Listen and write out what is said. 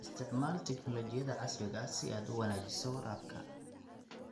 Isticmaal tignoolajiyada casriga ah si aad u wanaajiso waraabka.